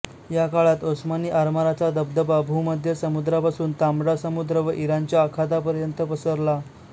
या काळात ओस्मानी आरमाराचा दबदबा भूमध्य समुद्रापासून तांबडा समुद्र व इराणच्या आखातापर्यंत पसरला